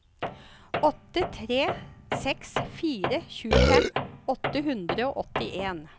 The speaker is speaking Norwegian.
åtte tre seks fire tjuefem åtte hundre og åttien